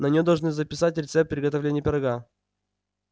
на неё должны записать рецепт приготовления пирога